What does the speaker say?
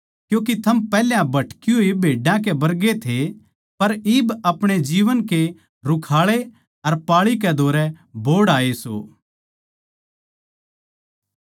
क्यूँके थम पैहल्या भटकी होड़ भेड्डां कै बरगे थे पर इब अपणे जीवन के रुखाळे अर पाळी कै धोरै बोहड़ आए सों